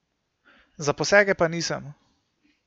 Za posege pa nisem.